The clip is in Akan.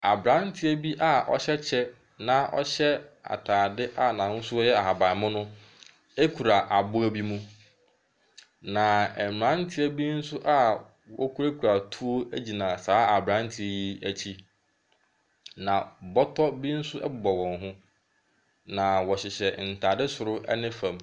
Aberanteɛ bi aɔhyɛ kyɛ na ɔhyɛ ataadeɛ a n’ahosuo yɛ ahabanmono kura aboa bi mu. Na mmeranteɛ bi nso a wɔkurakura tuo gyina aberanteɛ yi akyi. Na bɔtɔ bi nso bɔ wɔn ho, na wɔhyɛ ntaade soro ne fam.